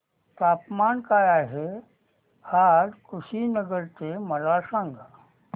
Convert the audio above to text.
तापमान काय आहे आज कुशीनगर चे मला सांगा